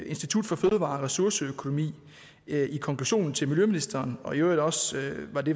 institut for fødevare og ressourceøkonomi i konklusionen til miljøministeren og i øvrigt også